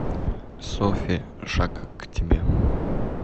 софи шаг к тебе